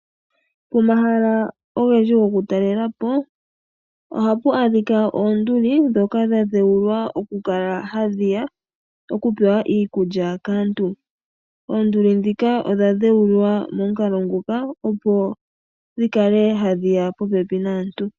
Pomahala ogendji goku talelapo ohapu adhika oonduli ndhoka dhadhewulwa okukala hadhiya okupewa iikulya kaantu, oonduli ndhika odha dhewulwa momukalo nguka opo dhikale hadhiya popepi naantu.